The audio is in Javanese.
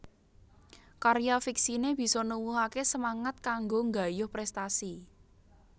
Karya fiksiné bisa nuwuhaké semangat kanggo nggayuh prèstasi